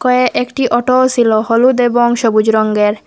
এ একটি অটোও সিল হলুদ এবং সবুজ রঙ্গের।